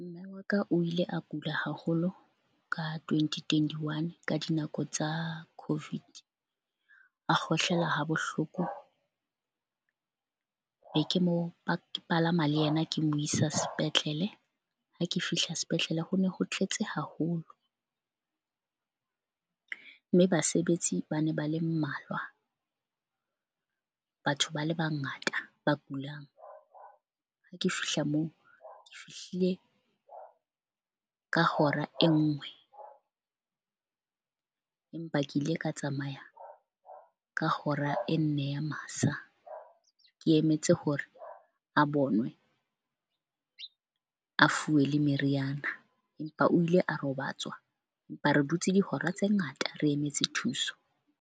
Mme wa ka, o ile a kula haholo ka twenty twenty one ka dinako tsa COVID. A kgohlela ha bohloko be ke mo ba palama le yena, ke mo isa sepetlele. Ha ke fihla sepetlele ho ne ho tletse haholo mme basebetsi ba ne ba le mmalwa. Batho ba le bangata ba kulang. Ha ke fihla moo ke fihlile ka hora e nngwe, empa ke ile ka tsamaya ka hora e nne ya masa. Ke emetse hore a bonwe a fuwe le meriana, empa o ile a robatswa. Empa re dutse dihora tse ngata, re emetse thuso.